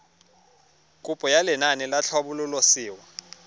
kopo ya lenaane la tlhabololosewa